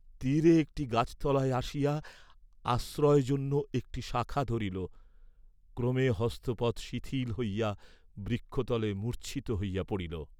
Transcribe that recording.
তীরে একটী গাছতলায় আসিয়া আশ্রয় জন্য একটী শাখা ধরিল, ক্রমে হস্ত পদ শিথিল হইয়া বৃক্ষতলে মূর্চ্ছিত হইয়া পড়িল।